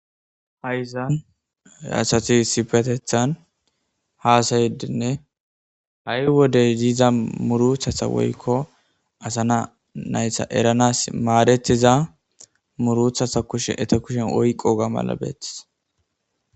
Ha'izan yaasati sifetethan haasaydinne ha'i wodey diiza muruthatha woykko asana naysa eranas maadettiza muruthatha kushe ete kushen oyqo gamala beettis